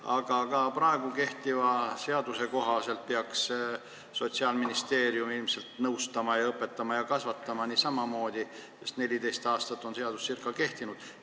Aga ka kehtiva seaduse kohaselt peaks Sotsiaalministeerium ilmselt samamoodi nõustama, õpetama ja kasvatama, sest seadus on ca 14 aastat kehtinud.